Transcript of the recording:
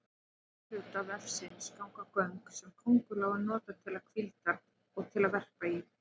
Úr afturhluta vefsins ganga göng sem köngulóin notar til hvíldar og til að verpa í.